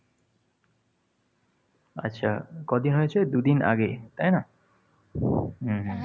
আচ্ছা ক’দিন হয়েছে? দুদিন আগে তাই না? হম হম